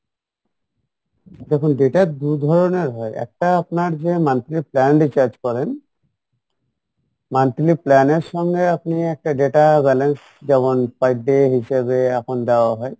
দেখুন data দু ধরণের হয় একটা আপনার যে monthly plan recharge করেন monthly plan এর সঙ্গে আপনি একটা data balance যেমন per day হিসেবে এখন দেওয়া হয়